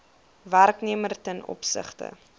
werknemer ten opsigte